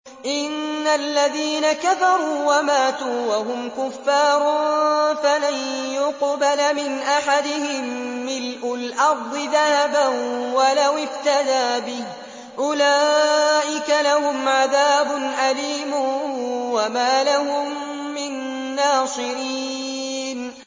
إِنَّ الَّذِينَ كَفَرُوا وَمَاتُوا وَهُمْ كُفَّارٌ فَلَن يُقْبَلَ مِنْ أَحَدِهِم مِّلْءُ الْأَرْضِ ذَهَبًا وَلَوِ افْتَدَىٰ بِهِ ۗ أُولَٰئِكَ لَهُمْ عَذَابٌ أَلِيمٌ وَمَا لَهُم مِّن نَّاصِرِينَ